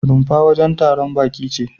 Rumfa wajen taron baƙi ce.